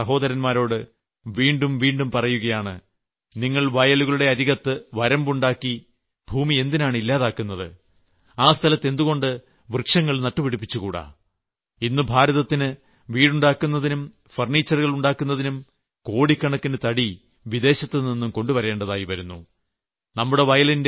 ഞാൻ എന്റെ കൃഷിക്കാരായ സഹോദന്മാരോട് വീണ്ടും വീണ്ടും പറയുകയാണ് നിങ്ങൾ വയലുകളുടെ അരികത്ത് വരമ്പുണ്ടാക്കി ഭൂമി എന്തിനാണ് ഇല്ലാതാക്കുന്നത് ആ സ്ഥലത്ത് എന്തുകൊണ്ട് വൃക്ഷങ്ങൾ നട്ടുപിടിപ്പിച്ചുകൂടാ ഇന്ന് ഭാരതത്തിന് വീടുണ്ടാക്കുന്നതിനും ഫർണിച്ചറുകൾ ഉണ്ടാക്കുന്നതിനും കോടിക്കണക്കിന് തടി വിദേശത്തുനിന്നും കൊണ്ടുവരേണ്ടിവരുന്നു